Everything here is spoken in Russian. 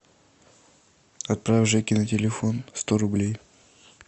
отправь жеке на телефон сто рублей